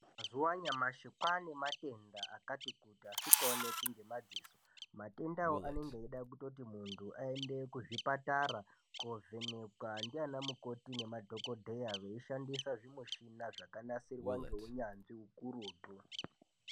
Mazuwa anyamashi kwane matenda akatikuti asingaoneki ngemadziso matenda awawo anenge eida kutoti muntu aende kuzvipatara kovhenekwa ndiana mukoti nemadhokodheya veishandisa zvimushina zvakanasirwa neunyanzvi ukurutu.